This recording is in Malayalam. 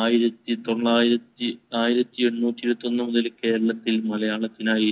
ആയിരത്തി തൊള്ളായിരത്തി~ ആയിരത്തി എണ്ണൂറ്റി ഇരുപത്തൊന്നു മുതൽ കേരളത്തിൽ മലയാളത്തിനായി